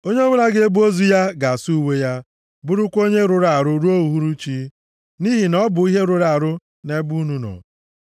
Onye ọbụla ga-ebu ozu ya ga-asa uwe ya, bụrụkwa onye rụrụ arụ ruo uhuruchi, nʼihi na ọ bụ ihe rụrụ arụ nʼebe unu nọ.